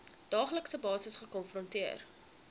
daaglikse basis gekonfronteer